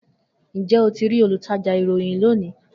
Njẹ o ti rii olutaja irohin loni?